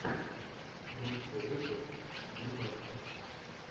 лучший выпуск глебастик